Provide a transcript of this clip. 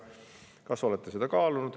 Kas olete seda kaalunud?